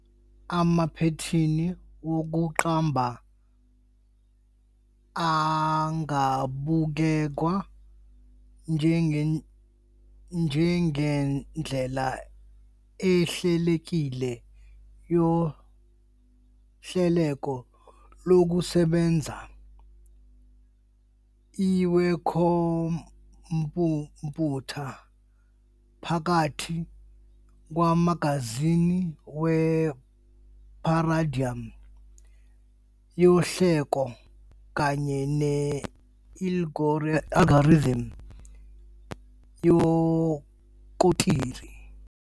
Amaphethini wokuqamba angabukwa njengendlela ehlelekile yohlelo lokusebenza lwekhompyutha phakathi kwamazinga we- paradigm yohlelo kanye ne- algorithm yekhonkrithi.